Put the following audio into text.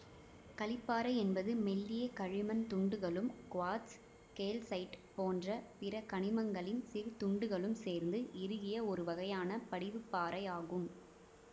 களிப்பாறை என்பது மெல்லிய களிமண் துண்டுகளும் குவார்ட்சு கேல்சைட்டு போன்ற பிற கனிமங்களின் சிறு துண்டுகளும் சேர்ந்து இறுகிய ஒருவகையான படிவுப்பாறை ஆகும்